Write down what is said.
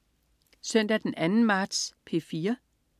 Søndag den 2. marts - P4: